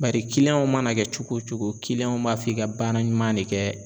Bari w mana kɛ cogo o cogo b'a f'i ka baara ɲuman de kɛ